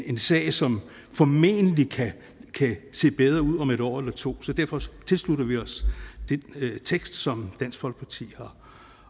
en sag som formentlig kan se bedre ud om et år eller to så derfor tilslutter vi os den tekst som dansk folkeparti